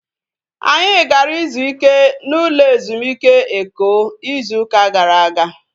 Anyị gara ịzụ ike n'ụlọ ezumike Eko ịzụ ụka gara aga